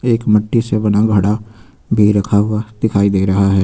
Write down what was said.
एक मट्टी से बना हुआ घड़ा भी रखा हुआ दिखाई दे रहा है।